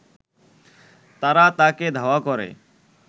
তারা তাকে ধাওয়া করে